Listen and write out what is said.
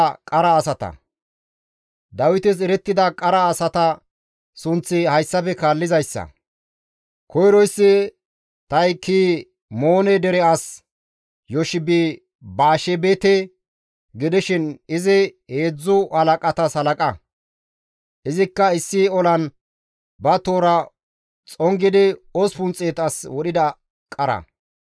Dawites erettida qara asata sunththi hayssafe kaallizayssa; koyroyssi Tahikimoone dere as Yoshebi-Baashebete gidishin izi heedzdzu halaqatas halaqa; izikka issi olan ba toora xongidi 800 as wodhida qara.